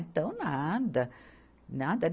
Então, nada. Nada